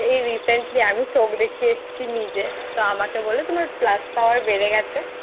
এই Recently আমি চোখ দেখিয়ে এসেছি নিজে তো আমাকে বললো তোমার Plus Power বেড়ে গেছে।